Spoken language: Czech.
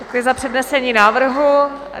Děkuji za přednesení návrhu.